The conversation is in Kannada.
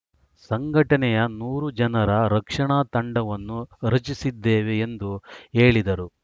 ಸಂಘಟನೆಯ ನೂರು ಜನರ ರಕ್ಷಣಾ ತಂಡವನ್ನು ರಚಿಸಿದ್ದೇವೆ ಎಂದು ಹೇಳಿದರು